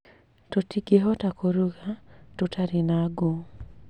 Tũtingĩhota kũruga tũtarĩ na ngũ